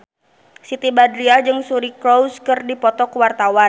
Siti Badriah jeung Suri Cruise keur dipoto ku wartawan